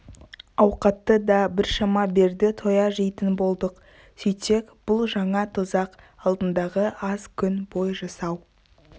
ауқатты да біршама берді тоя жейтін болдық сөйтсек бұл жаңа тозақ алдындағы аз күн бой жасау